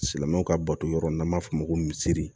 Silamɛmɛw ka bato yɔrɔ in n'an b'a fɔ o ma ko misiri